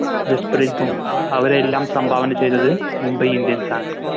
ജസ്പ്രീത് ബുംറ അവരെയെല്ലാം സംഭാവന ചെയ്തത് Mumbai indians ആണ്